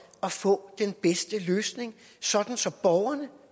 at få den bedste løsning så så borgerne